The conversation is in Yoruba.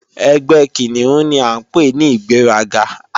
Ẹgbẹ́ Kìnìún ni à ń pè ní ìgbéraga